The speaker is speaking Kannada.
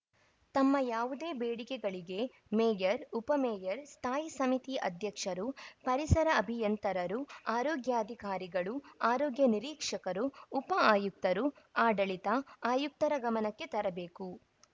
ತಮ್ಮ ಯಾವುದೇ ಬೇಡಿಕೆಗಳಿಗೆ ಮೇಯರ್‌ ಉಪ ಮೇಯರ್‌ ಸ್ಥಾಯಿ ಸಮಿತಿ ಅಧ್ಯಕ್ಷರು ಪರಿಸರ ಅಭಿಯಂತರರು ಆರೋಗ್ಯಾಧಿಕಾರಿಗಳು ಆರೋಗ್ಯ ನಿರೀಕ್ಷಕರು ಉಪ ಆಯುಕ್ತರುಆಡಳಿತ ಆಯುಕ್ತರ ಗಮನಕ್ಕೆ ತರಬೇಕು